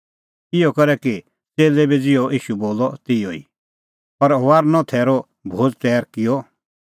इहअ करै च़ेल्लै बी किअ ज़िहअ ईशू बोलअ तिहअ ई और फसहे थैरो भोज़ तैर किअ